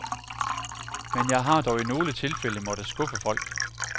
Men jeg har dog i nogle tilfælde måttet skuffe folk.